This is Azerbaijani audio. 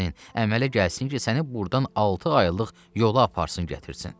əmələ gəlsin ki, səni burdan altı aylıq yola aparsın gətirsin.